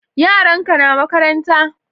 Yaran ka na makaranta